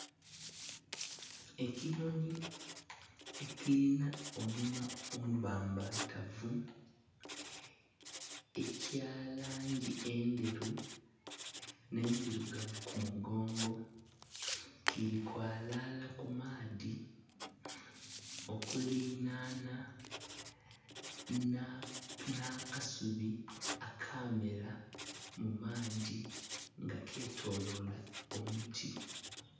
Ekinhonhi ekilinha omunwa omubambatavu ekya langi endheru, nhendilugavu ku mugongo kili kwlala ku maadhi okulilanha nha kasubi akamela mu maadhi nga ketolola omuti.